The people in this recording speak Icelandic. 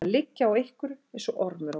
Að liggja á einhverju eins og ormur á gulli